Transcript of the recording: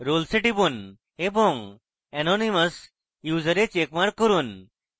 roles a টিপুন এবং anonymous user a checkmark করুন